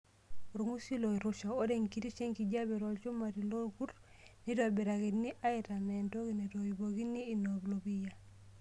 Orng'usil oirusha:Ore enkitisho enkijiape tolchumati lorkurt neitobirakini aitanana entoki naitoipokino inapuliya.